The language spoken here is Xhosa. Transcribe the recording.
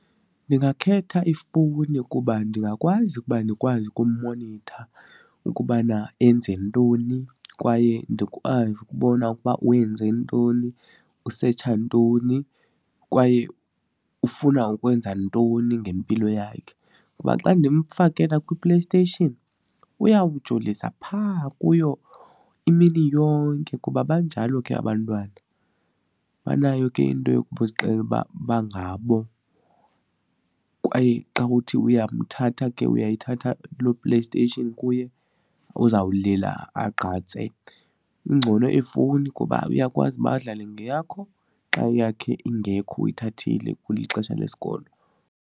Ndingakhetha ifowuni kuba ndingakwazi ukuba ndikwazi ukummonitha ukubana enze ntoni kwaye ndikwazi ukubona ukuba wenze ntoni, usetsha ntoni kwaye ufuna ukwenza ntoni ngempilo yakhe. Kuba xa ndimfakela kwiPlayStation uyawujolisa phaa kuyo imini yonke kuba banjalo ke abantwana, banayo ke into yokuzixelela uba bangabo kwaye xa uthi uyamthatha ke uyayithatha loo PlayStation kuye uzawulila agqatse. Kungcono ifowuni kuba uyakwazi uba adlale ngeyakho xa eyakhe ingekho uyithathile kulixesha lesikolo.